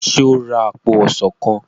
ṣe o rà apo ọsán kán?